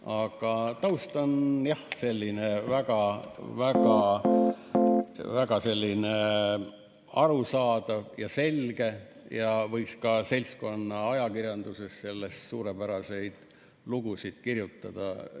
Aga taust on, jah, väga arusaadav ja selge ning seltskonnaajakirjanduses võiks sellest suurepäraseid lugusid kirjutada.